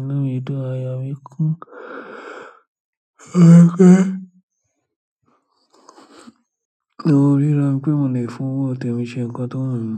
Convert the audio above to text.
Inú mi dùn, ayọ̀ mi kún. Torí pé mo ríra mi pé mo lè fún owó tèmi ṣe nǹkan tó wù mí.